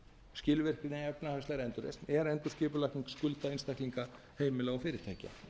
skilvirkni efnahagslegri endurreisn er endurskipulagning skulda einstaklinga heimila og fyrirtækja